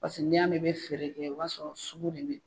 Paseke n'i y'a mɛn i bɛ feere kɛ o b'a sɔrɔ sugu de bɛ ye.